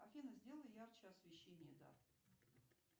афина сделай ярче освещение да